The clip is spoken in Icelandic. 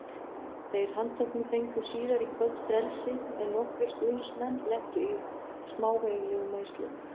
Þeir handteknu fengu síðar í kvöld frelsi en nokkrir stuðningsmenn lentu í smávægilegum meiðslum.